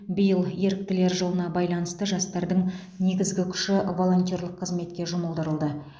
биыл еріктілер жылына байланысты жастардың негізгі күші волонтерлік қызметке жұмылдырылды